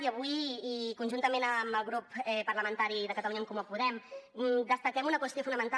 i avui i conjuntament amb el grup parlamentari de catalunya en comú podem destaquem una qüestió fonamental